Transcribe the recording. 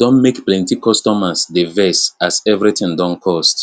don make plenty customers dey vex as everything don cost